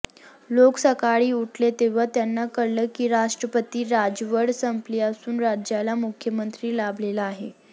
लोक सकाळी उठले तेव्हा त्यांना कळलं की राष्ट्रपती राजवट संपली असून राज्याला मुख्यमंत्री लाभलेला आहे